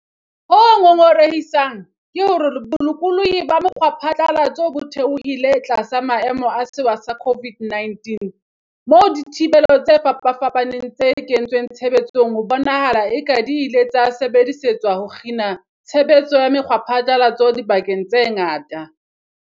Ho ngongorehisang ke hore bolokolohi ba mokgwaphatla latso bo theohile tlasa maemo a sewa sa COVID-19, moo dithibelo tse fapafapaneng tse kentsweng tshebetsong ho bonahalang e ka di ile tsa sebedisetswa ho kgina tshe betso ya mekgwaphatlalatso dibakeng tse ngata.